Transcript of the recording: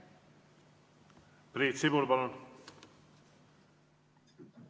Priit Sibul, palun!